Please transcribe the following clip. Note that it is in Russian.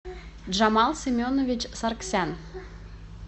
джамал семенович сарксян